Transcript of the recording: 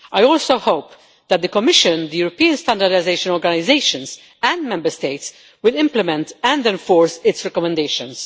I also hope that the Commission, the European standardisation organisations and Member States will implement and enforce its recommendations.